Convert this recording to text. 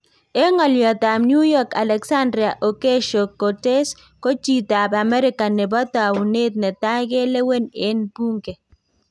En ng'olyootab New York Alexandria Ocasio -Cortez; ko chitab Amerika nebo tawuneet netai keleween en buunke.